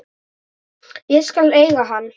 Ég skal eiga hann.